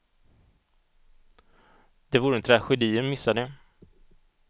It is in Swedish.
Det vore en tragedi att missa det.